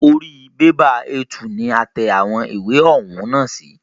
Orí bẹ́bà A2 ni a tẹ àwọn ìwé ọ̀hún nà sí.